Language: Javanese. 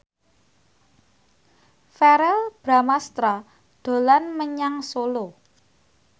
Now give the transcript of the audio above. Verrell Bramastra dolan menyang Solo